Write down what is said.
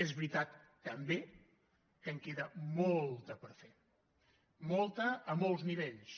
és veritat també que en queda molta per fer molta a molts nivells